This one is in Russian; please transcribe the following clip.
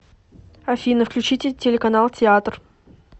афина включите телеканал театр